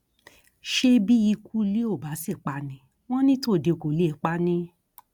ṣé bí ikú ilé ò bá sì pa ni wọn ní tòde kó lè pa ni